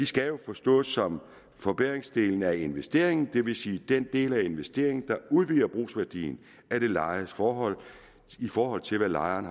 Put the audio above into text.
skal jo forstås som forbedringsdelen af investeringen det vil sige den del af investeringen der udvider brugsværdien af det lejedes forhold i forhold til hvad lejeren